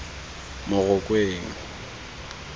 morokweng